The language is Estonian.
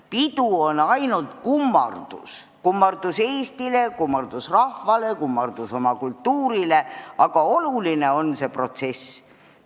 Pidu on ainult kummardus, kummardus Eestile, kummardus rahvale, kummardus oma kultuurile, aga oluline on ka see protsess.